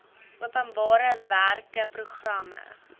openbare werke programme